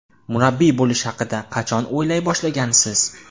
Murabbiy bo‘lish haqida qachon o‘ylay boshlagansiz?